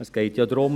Es geht ja darum: